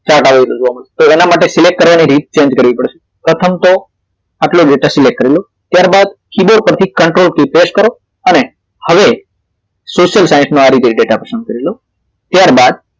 Chart label જોવા મળશે તો એના માટે select કરવાની રીત change કરવી પડશે પ્રથમ તો આટલો ડેટા select કરી લો ત્યારબાદ સીધા પરથી ctrl key press કરો અને હવે social science નો આ રીતે ડેટા પસંદ કરી લ્યો ત્યારબાદ